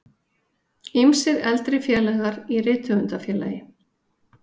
Ýmsir eldri félagar í Rithöfundafélagi